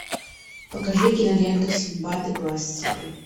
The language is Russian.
покажи киноленту синдбад и глаз тигра